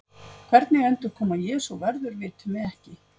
Hvernig endurkoma Jesú verður vitum við ekki.